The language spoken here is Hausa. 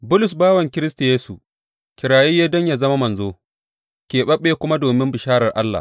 Bulus, bawan Kiristi Yesu, kirayaye don yă zama manzo, keɓaɓɓe kuma domin bisharar Allah.